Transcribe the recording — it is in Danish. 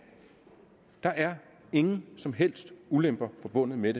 der er ingen som helst ulemper forbundet med